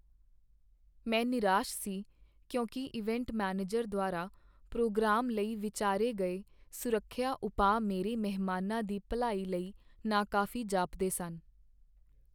ਮੈਂ ਨਿਰਾਸ਼ ਸੀ ਕਿਉਂਕਿ ਇਵੈਂਟ ਮੈਨੇਜਰ ਦੁਆਰਾ ਪ੍ਰੋਗਰਾਮ ਲਈ ਵਿਚਾਰੇ ਗਏ ਸੁਰੱਖਿਆ ਉਪਾਅ ਮੇਰੇ ਮਹਿਮਾਨਾਂ ਦੀ ਭਲਾਈ ਲਈ ਨਾਕਾਫ਼ੀ ਜਾਪਦੇ ਸਨ।